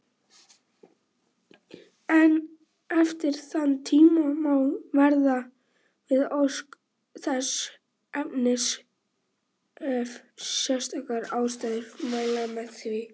Eftir þann tíma má verða við ósk þess efnis ef sérstakar ástæður mæla með því.